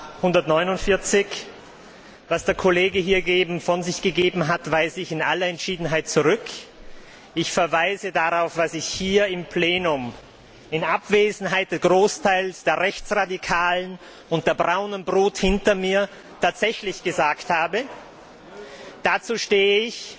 149. Was der Kollege eben von sich gegeben hat, weise ich in aller Entschiedenheit zurück. Ich verweise darauf, was ich hier im Plenum in Abwesenheit eines Großteils der rechtsradikalen und der braunen Brut hinter mir tatsächlich gesagt habe. Dazu stehe ich.